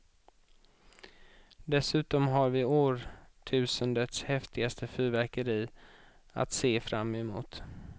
Dessutom har vi årtusendets häftigaste fyrverkeri att se fram emot.